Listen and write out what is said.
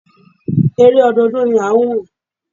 Eré ọdọọdún ni à ń wò.